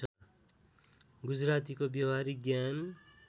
गुजरातीको व्यावहारिक ज्ञान